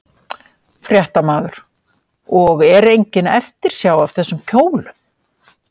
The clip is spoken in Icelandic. Fréttamaður: Og er engin eftirsjá af þessum kjólum?